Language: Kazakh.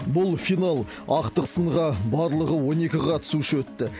бұл финал ақтық сынға барлығы он екі қатысушы өтті